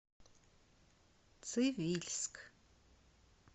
цивильск